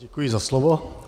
Děkuji za slovo.